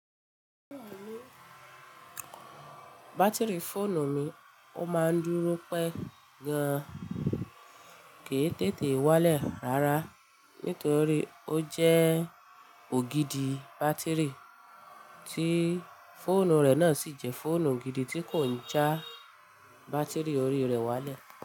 Bátìrì fóònù mi ó máa ń dúró pẹ́ gan, kì í tètè wálẹ̀ rárá nítorí ó jẹ́ ògidì bátìrì tí fóònù rẹ̀ náà sì jẹ́ fóònù gidì tí kò ń já bátìrì orí rẹ̀ wálẹ̀